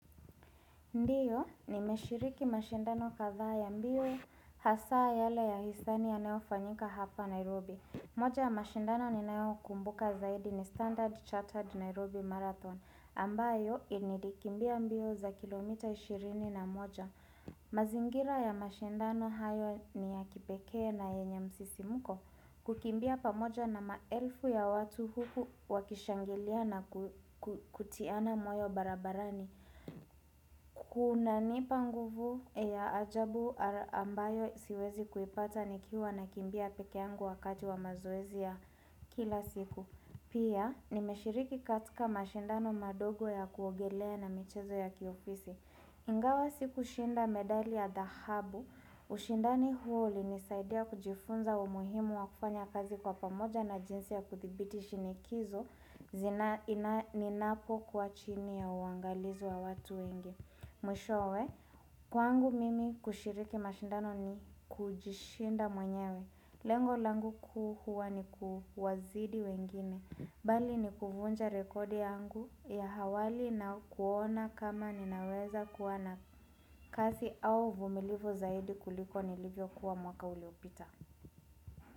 Ndiyo, ninashiriki mashindano kadhaa ya mbio hasa yale ya uhisani yanayofanyika hapa Nairobi. Moja ya mashindano ninayokumbuka zaidi ni Standard Chattered Nairobi Marathon ambayo nilikimbia mbio za kilomita ishirini na moja. Mazingira ya mashindano hayo ni ya kipekee na yenye msisimko. Kukimbia pamoja na maelfu ya watu huku wakishangilia na kutiana moyo barabarani. Kunanipa nguvu ya ajabu ambayo siwezi kuipata nikiwa nakimbia peke yangu wakati wa mazoezi ya kila siku. Pia, nimeshiriki katika mashindano madogo ya kuogelea na michezo ya kiofisi Ingawa sikushinda medali ya dahabu ushindani huu ulinisaidia kujifunza umuhimu wa kufanya kazi kwa pamoja na jinsi ya kuthibiti shinikizo ninapokuwa chini ya uangalizi wa watu wengi Mwishowe, kwangu mimi kushiriki mashindano ni kujishinda mwenyewe. Lengo langu kuu hua ni kuwazidi wengine Bali ni kuvunja rekodi yangu ya awali na kuona kama ninaweza kuwa na kasi au uvumilivu zaidi kuliko nilivyokuwa mwaka uliopita.